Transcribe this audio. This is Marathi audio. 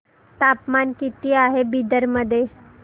तापमान किती आहे बिदर मध्ये